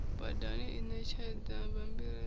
badani i ṋetshedza bammbiri ḽa